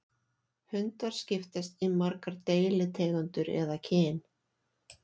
Hundar skiptast í margar deilitegundir eða kyn.